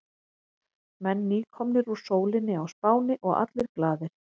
Menn nýkomnir úr sólinni á Spáni og allir glaðir.